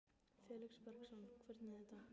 Felix Bergsson: Hvernig er þetta?